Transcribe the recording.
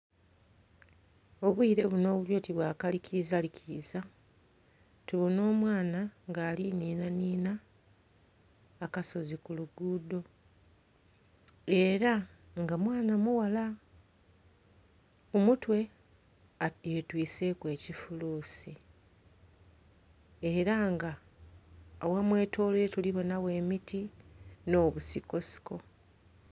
Obwire buno obuli oti bwa kalikiizalikiiza, tubona omwana nga ali ninhaninha akasozi ku luguudo, era nga mwana mughala. Ku mutwe yetwiiseku ekifuluusi. Era nga aghamwetoloire tuli bonagho emiti, nh'obusikosiko.